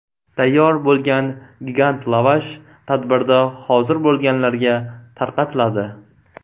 Tayyor bo‘lgan gigant lavash tadbirda hozir bo‘lganlarga tarqatiladi.